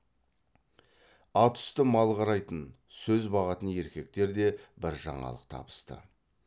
ат үсті мал қарайтын сөз бағатын еркектер де бір жаңалық табысты